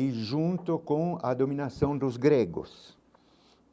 E junto com a dominação dos gregos,